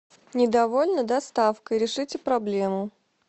недовольна доставкой решите проблему